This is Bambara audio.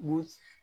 Z